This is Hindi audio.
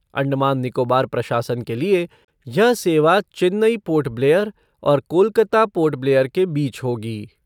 अंडमान निकोबार प्रशासन के लिए यह सेवा चेन्नई पोर्ट ब्लेयर और कोलकाता पोर्ट ब्लेयर के बीच होगी।